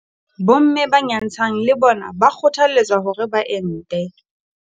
Bomme ba nyantshang le bona ba kgothaletswa hore ba ente.